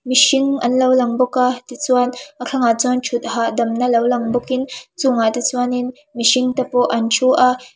mihring anlo lang bawk tichuan a thlangah chuan thut hahdam na lo lang bawkin chung ah te chuanin mihring te pawh an thu a.